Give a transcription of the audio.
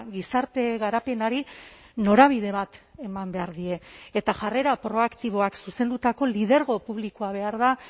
gizarte garapenari norabide bat eman behar die eta jarrera proaktiboak zuzendutako lidergo publikoa behar da